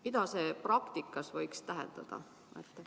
Mida see praktikas võiks tähendada?